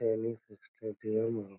Tennis stadium है।